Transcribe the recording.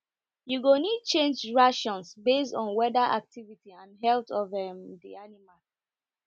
you go need change rations based on weather activity and health of um the animal